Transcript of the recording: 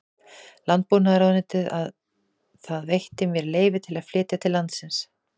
Landbúnaðarráðuneytið að það veitti mér leyfi til að flytja til landsins